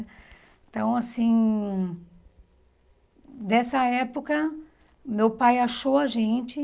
Então, assim... Dessa época, meu pai achou a gente.